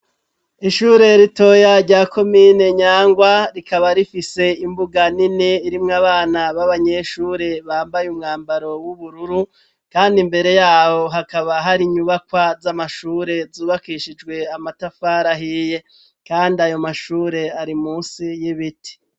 Ishure ritoya rya komine nyangwa ,rikaba rifise imbuga nini, irimwo abana b'abanyeshure bambaye umwambaro w'ubururu, kandi imbere yabo hakaba hari inyubakwa z'amashure, zubakishijwe amatafari ahiye kandi ayo mashure ari munsi y'ibiti.